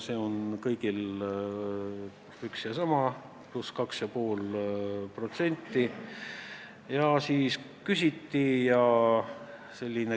See on küll kõigil üks ja sama: pluss 2,5%.